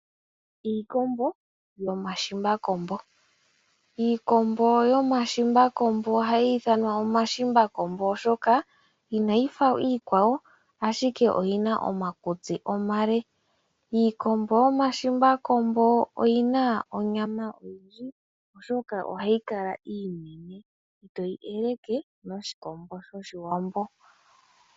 Iikombo yomashimbakombo, iikombo yomashimbakombo ohayi ithanwa iikombo yomashimbakombo oshoka inayi fa iikwawo ashike oyina omakutsi omale, iikombo yomashimbakombo oyina onyama oyindji oshoka ohayi kala iinene itoyi eleke noshikombo shoshiwambo.